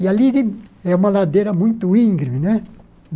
E ali li é uma ladeira muito íngreme, né?